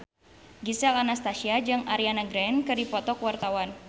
Gisel Anastasia jeung Ariana Grande keur dipoto ku wartawan